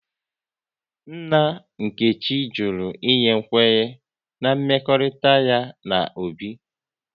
Nna Nkechi jụrụ ịnye kwenye na mmekọrịta ya na Obi